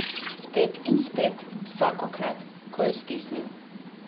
Spet in spet, vsakokrat, ko je stisnil.